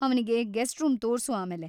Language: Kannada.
ಅವ್ನಿಗೆ ಗೆಸ್ಟ್‌ ರೂಮ್ ತೋರ್ಸು ಆಮೇಲೆ.